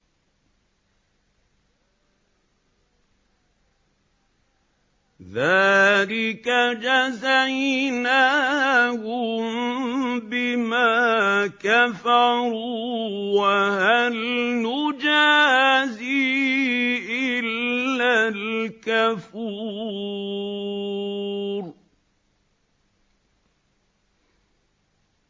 ذَٰلِكَ جَزَيْنَاهُم بِمَا كَفَرُوا ۖ وَهَلْ نُجَازِي إِلَّا الْكَفُورَ